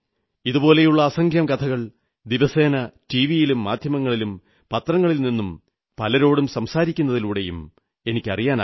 ഇതുപോലുള്ള അസംഖ്യം കഥകൾ ദിവസേന ടിവിയിലും മാധ്യമങ്ങളിലും പത്രങ്ങളിലും നിന്നും പലരോടും സംസാരിക്കുന്നതിലൂടെയും അറിയാനാകുന്നു